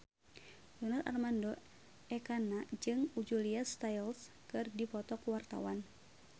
Donar Armando Ekana jeung Julia Stiles keur dipoto ku wartawan